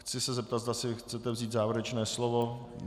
Chci se zeptat, zda si chcete vzít závěrečné slovo.